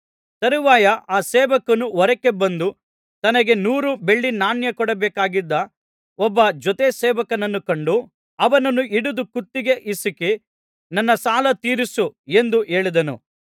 ತರುವಾಯ ಆ ಸೇವಕನು ಹೊರಕ್ಕೆ ಬಂದು ತನಗೆ ನೂರು ಬೆಳ್ಳಿ ನಾಣ್ಯ ಕೊಡಬೇಕಾಗಿದ್ದ ಒಬ್ಬ ಜೊತೆ ಸೇವಕನನ್ನು ಕಂಡು ಅವನನ್ನು ಹಿಡಿದು ಕುತ್ತಿಗೆ ಹಿಸುಕಿ ನನ್ನ ಸಾಲ ತೀರಿಸು ಎಂದು ಹೇಳಿದನು